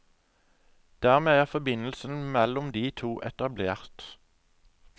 Dermed er forbindelsen mellom de to etablert.